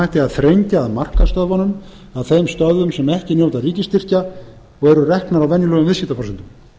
hætti að þrengja að markaðsstöðvunum að þeim stöðvum sem ekki njóta ríkisstyrkja og eru reknar á venjulegum viðskiptaforsendum